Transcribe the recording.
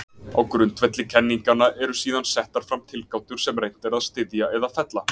Á grundvelli kenninganna eru síðan settar fram tilgátur sem reynt er að styðja eða fella.